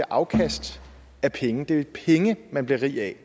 afkast af penge det er penge man bliver rig af